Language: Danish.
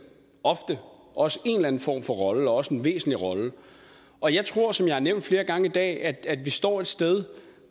ofte også en eller anden form for rolle også en væsentlig rolle og jeg tror som jeg har nævnt flere gange i dag at vi står et sted